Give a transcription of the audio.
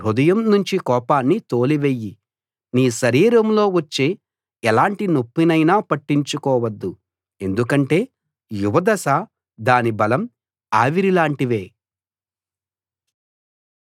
నీ హృదయం నుంచి కోపాన్ని తోలివెయ్యి నీ శరీరంలో వచ్చే ఎలాంటి నొప్పినైనా పట్టించుకోవద్దు ఎందుకంటే యువదశ దాని బలం ఆవిరి లాంటివే